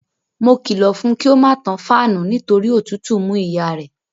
Mo kìlọ̀ fún un kí ó má tan fáànù nítorí òtùtù mú ìyá rẹ̀.